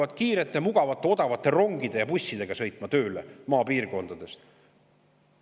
Et inimesed hakkavad maapiirkondadest tööle sõitma kiirete mugavate odavate rongide ja bussidega.